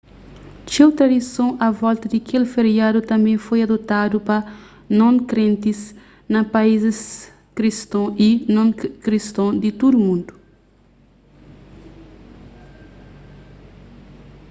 txeu tradison a volta di kel feriadu tanbê foi adotadu pa non-krentis na paizis kriston y non-kriston di tudu mundu